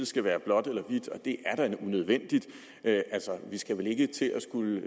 skal være blåt eller hvidt og det er da unødvendigt altså vi skal vel ikke til at